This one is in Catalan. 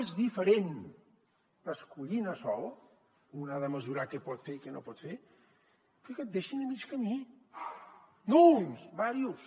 és diferent escollir anar sol un ha de mesurar què pot fer i què no pot fer que que et deixin a mig camí no uns uns quants